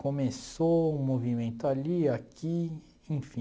Começou um movimento ali, aqui, enfim.